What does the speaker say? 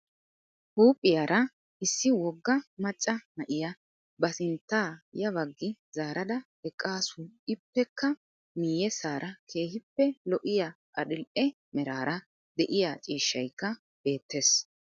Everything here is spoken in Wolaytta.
Huuphphiyaraa issi woggaa maccaa naa7iya ba sinttaa ya bagi zaaradaa eqqasu ippekka miyessaraa kehippe lo7iya adidhdhe meraraa de7iya cishshaykka beetteess